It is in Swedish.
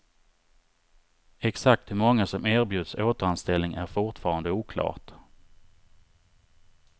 Exakt hur många som erbjuds återanställning är fortfarande oklart.